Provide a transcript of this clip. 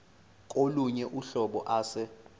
kolunye uhlobo ase